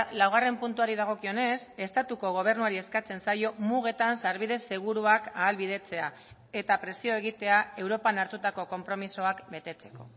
laugarren puntuari dagokionez estatuko gobernuari eskatzen zaio mugetan sarbide seguruak ahalbidetzea eta presio egitea europan hartutako konpromisoak betetzeko